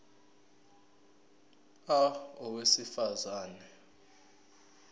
a owesifaz ane